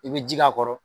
I bɛ ji k'a kɔrɔ